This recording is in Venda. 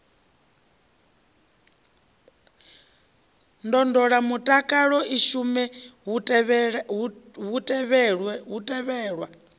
ndondolamutakalo i shume hu tevhelwa